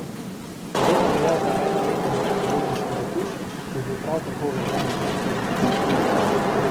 Podobno velja za enoletni porodniški dopust, ki je bil prav tako uveden v sedemdesetih.